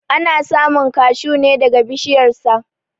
Ana samun kashuw ne daga bishiyar sa.